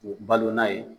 Balona ye